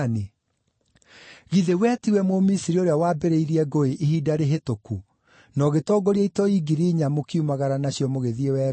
Githĩ we tiwe Mũmisiri ũrĩa wambĩrĩirie ngũĩ hĩndĩ ĩmwe, na ũgĩtongoria itoi ngiri inya, mũkiumagara nacio mũgĩthiĩ werũ-inĩ?”